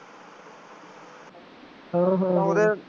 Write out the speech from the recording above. ਹਾਂ ਹਾਂ